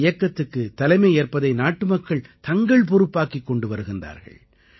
இந்த இயக்கத்துக்குத் தலைமையேற்பதை நாட்டுமக்கள் தங்கள் பொறுப்பாக்கிக் கொண்டு வருகிறார்கள்